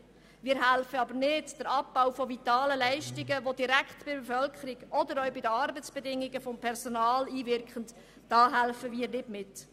Wir helfen aber nicht beim Abbau von vitalen Leistungen mit, der sich direkt auf die Bevölkerung oder auch auf die Arbeitsbedingungen des Personals auswirkt.